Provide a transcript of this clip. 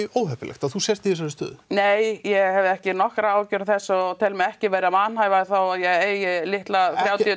óheppilegt að þú sért í þessari stöðu nei ég hefði ekki nokkrar áhyggjur af þessu og tel mig ekki vera vanhæfa þó ég eigi litla þrjátíu